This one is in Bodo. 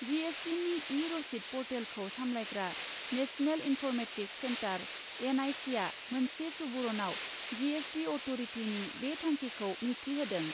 जिएसटिनि इ रसिद पर्टेलखौ सामलायग्रा नेशनेल इन्फर्मेटिक्स सेन्टर, एनआइसिआ मोनसे सुबरनआव जिएसटि अट'रिटिनि बे थांखिखौ मिबथिहोदों ।